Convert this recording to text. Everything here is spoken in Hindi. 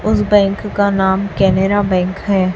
उस बैंक का नाम कैनरा बैंक है।